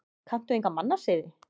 Kanntu enga mannasiði?